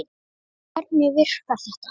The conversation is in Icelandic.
Hvernig virkar þetta?